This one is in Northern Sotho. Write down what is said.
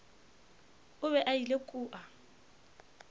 o be a ile kua